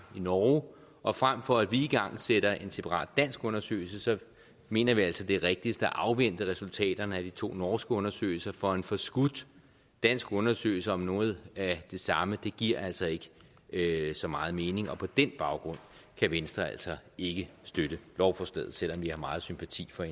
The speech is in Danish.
i norge og frem for at vi igangsætter en separat dansk undersøgelse mener vi altså at det er rigtigst at afvente resultaterne af de to norske undersøgelser for en forskudt dansk undersøgelse om noget af det samme giver altså ikke ikke så meget mening på den baggrund kan venstre altså ikke støtte lovforslaget selv om vi har meget sympati for